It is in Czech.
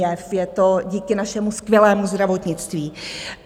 Je to díky našemu skvělému zdravotnictví.